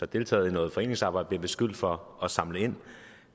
deltaget i noget foreningsarbejde og beskyldt for at samle